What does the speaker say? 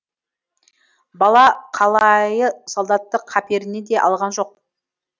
бала қалайы солдатты қаперіне де алған жоқ